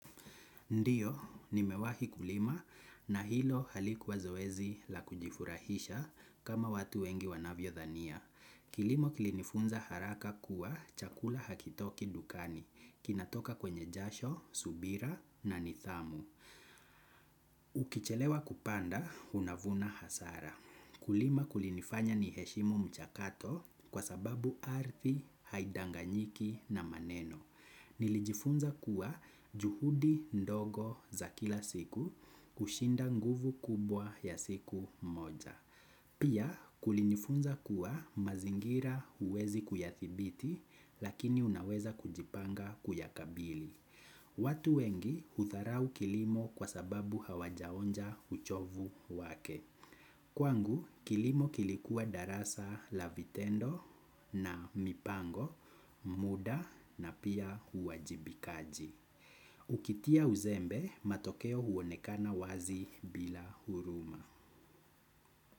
Ndiyo, nimewahi kulima na hilo halikuwa zoezi la kujifurahisha kama watu wengi wanavyo dhania. Kilimo kilinifunza haraka kuwa chakula hakitoki dukani, kinatoka kwenye jasho, subira na nidhamu. Ukichelewa kupanda, unavuna hasara. Kulima kulinifanya niheshimu mchakato kwa sababu ardhi, haidanganyiki na maneno. Nilijifunza kuwa juhudi ndogo za kila siku kushinda nguvu kubwa ya siku moja. Pia kulinifunza kuwa mazingira huwezi kuyathibiti lakini unaweza kujipanga kuyakabili. Watu wengi hudharau kilimo kwa sababu hawajaonja uchovu wake. Kwangu, kilimo kilikuwa darasa la vitendo na mipango, muda na pia uajibikaji. Ukitia uzembe, matokeo huonekana wazi bila huruma.